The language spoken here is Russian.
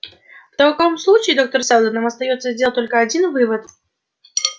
в таком случае доктор сэлдон нам остаётся сделать только один вывод